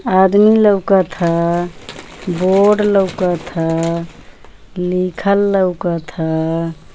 आदमी लोकत ह बोर्ड लोकत ह लिखल लोकत ह।